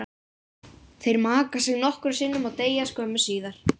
Þeir maka sig nokkrum sinnum og deyja skömmu síðar.